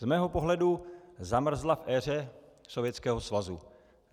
Z mého pohledu zamrzla v éře Sovětského svazu.